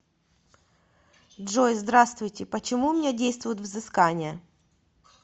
джой здравствуйте почему у меня действует взыскание